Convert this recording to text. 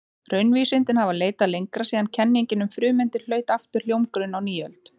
Raunvísindin hafa leitað lengra síðan kenningin um frumeindir hlaut aftur hljómgrunn á nýöld.